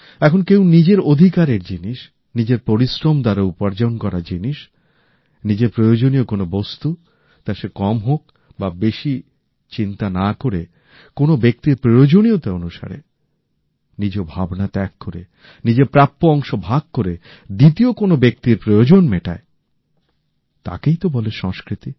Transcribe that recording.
এখন কেউ নিজের অধিকারের জিনিস নিজের পরিশ্রম দ্বারা উপার্জন করা জিনিস নিজের প্রয়োজনীয় কোনো বস্তুতা সে কম হোক বা বেশি চিন্তা না করে কোনো ব্যক্তির প্রয়োজনীয়তা অনুসারে নিজ ভাবনা ত্যাগ করে নিজের প্রাপ্য অংশ ভাগ করে দ্বিতীয় কোনো ব্যক্তির প্রয়োজন মেটায়তাকেই তো বলে সংস্কৃতি